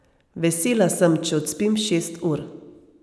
Vesela sem, če odspim šest ur.